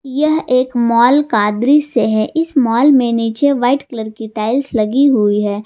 यह एक मॉल का दृश्य है इस मॉल में नीचे वाइट कलर की टाइल्स लगी हुई है।